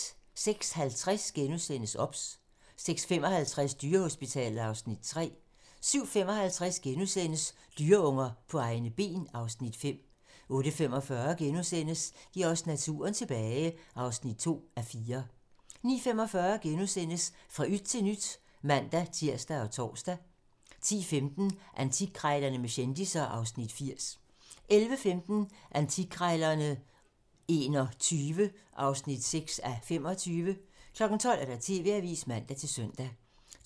06:50: OBS * 06:55: Dyrehospitalet (Afs. 3) 07:55: Dyreunger på egne ben (Afs. 5)* 08:45: Giv os naturen tilbage (2:4)* 09:45: Fra yt til nyt *(man-tir og tor) 10:15: Antikkrejlerne med kendisser (Afs. 80) 11:15: Antikkrejlerne XXI (6:25) 12:00: TV-avisen (man-søn)